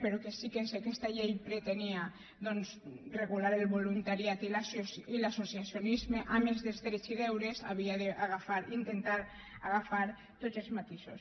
però que sí que si aquesta llei pretenia doncs regular el voluntariat i l’associacionisme a més dels drets i deures havia d’agafar intentar agafar tots els matisos